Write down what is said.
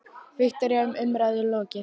Viktoría, er umræðum lokið?